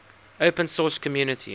open source community